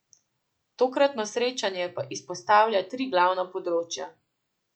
Tokratno srečanje pa izpostavlja tri glavna področja.